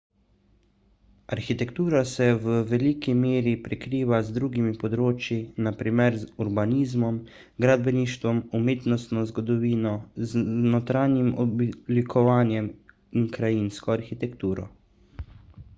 arhitektura se v veliki meri prekriva z drugimi področji na primer urbanizmom gradbeništvom umetnostno zgodovino notranjim oblikovanjem in krajinsko arhitekturo